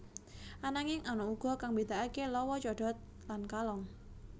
Ananging ana uga kang mbedakaké lawa codot lan kalong